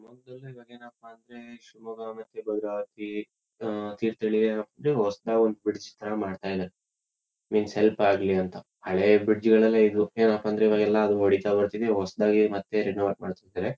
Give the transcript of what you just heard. ಶಿಮೊಗ್ಗದಲ್ಲೇ ಇವಾಗ ಏನಪ್ಪಾ ಅಂದ್ರೆ ಶಿವಮೊಗ್ಗ ಮತ್ತೆ ಭದ್ರಾವತಿ ಆಹ್ಹ್ ತೀರ್ಥಹಳ್ಳಿ ಅಂದ್ರೆ ಹೊಸತಾಗಿ ಒಂದು ಬ್ರಿಜ್ ತರ ಮಾಡ್ತಾ ಇದಾರೆ. ಮೀನ್ ಸ್ವಲ್ಪ ಆಗಲಿ ಅಂತ. ಹಳೆ ಬ್ರಿಜ್ ಗಳೆಲ್ಲಾ ಇದು ಏನಪ್ಪಾ ಅಂದ್ರೆ ಇವಾಗೆಲ್ಲಾ ಅದ್ ಹೊಡಿತಾ ಬರ್ತಿವಿ ಹೊಸತಾಗಿ ಮತ್ತೆ ರಿನೋವೆಟ್ ಮಾಡ್ತಿದ್ದಾರೆ.